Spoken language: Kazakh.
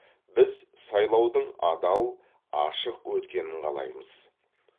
біз сайлаудың адал ашық өткенін қалаймыз